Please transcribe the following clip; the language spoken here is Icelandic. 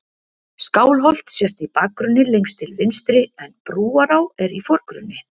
Skálholt sést í bakgrunni lengst til vinstri en Brúará er í forgrunni.